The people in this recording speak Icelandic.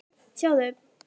Sjáðu